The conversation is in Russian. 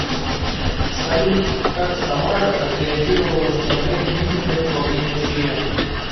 салют как самара отреагировала на запрет митингов во время чм